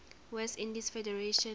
west indies federation